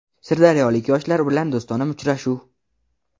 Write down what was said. Sirdaryolik yoshlar bilan do‘stona uchrashuv.